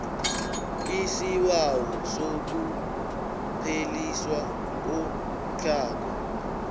isibawo sokupheliswa komtlhago